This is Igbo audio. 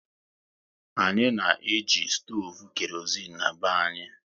Anyị na eji stoovu kerozein na-be anyị